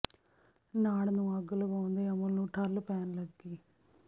ਨਾੜ ਨੂੰ ਅੱਗ ਲਗਾਉਣ ਦੇ ਅਮਲ ਨੂੰ ਠੱਲ੍ਹ ਪੈਣ ਲੱਗੀ